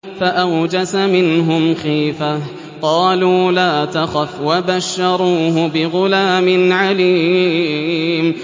فَأَوْجَسَ مِنْهُمْ خِيفَةً ۖ قَالُوا لَا تَخَفْ ۖ وَبَشَّرُوهُ بِغُلَامٍ عَلِيمٍ